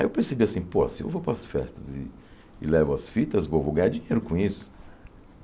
Aí eu percebi assim, pô, se eu vou para as festas e e levo as fitas, vou vou ganhar dinheiro com isso.